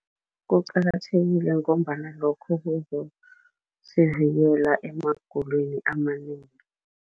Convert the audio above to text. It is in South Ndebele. Kuqakathekile ngombana lokho kuzosivikela emagulweni amanengi.